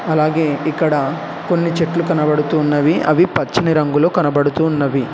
అలాగే ఇక్కడ కొన్ని చెట్లు కనబడుతున్నవి అవి పచ్చని రంగులో కనబడుతున్నవి.